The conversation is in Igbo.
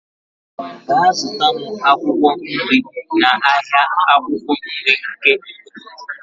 Gaa zụta m akwụkwọ nri n'ahịa akwukwo nri nke obodo.